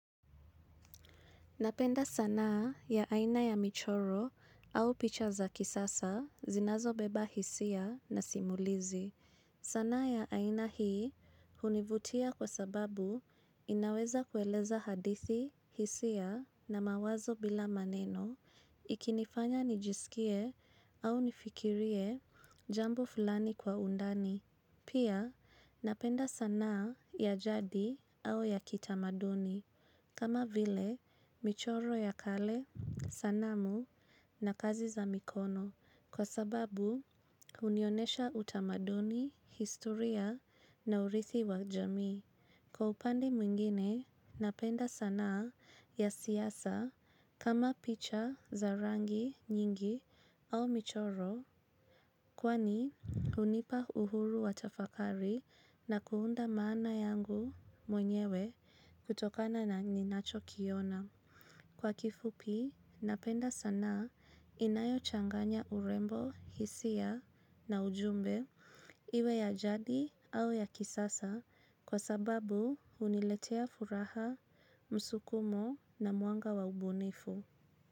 Napenda sanaa ya aina ya michoro au picha za kisasa zinazobeba hisia na simulizi. Sanaa ya aina hii hunivutia kwa sababu inaweza kueleza hadithi hisia na mawazo bila maneno ikinifanya nijisikie au nifikirie jambo fulani kwa undani. Pia napenda sanaa ya jadi au ya kitamaduni. Kama vile, michoro ya kale, sanamu na kazi za mikono kwa sababu hunionesha utamaduni, historia na urithi wa jamii. Kwa upande mwingine, napenda sanaa ya siasa kama picha za rangi nyingi au michoro. Kwani, hunipa uhuru wa tafakari na kuunda maana yangu mwenyewe kutokana na ninachokiona. Kwa kifupi napenda sanaa inayochanganya urembo hisia na ujumbe iwe ya jadi au ya kisasa kwa sababu huniletea furaha, msukumo na mwanga wa ubunifu.